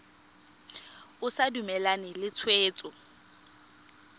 o sa dumalane le tshwetso